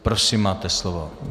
Prosím, máte slovo.